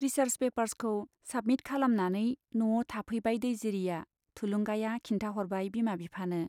Research पेपार्सखौ submit खालामनानै न'आव थाफैबाय दैजिरिया थुलुंगाया खिन्थाह'रबाय बिमा बिफानो।